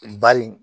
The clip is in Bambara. Bari